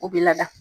U bɛ lada